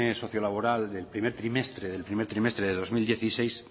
sociolaboral del primer trimestre del dos mil dieciséis